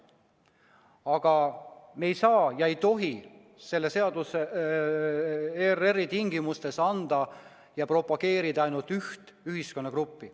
Aga me ei saa ega tohi selle seadusega ERR-i tingimustes propageerida ainult üht ühiskonnagruppi.